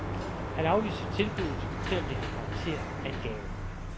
Han afviser tilbuddet, selv om det har karakter af en gave.